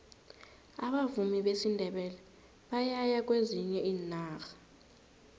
abavumi besindebele bayaya kwezinye iinarha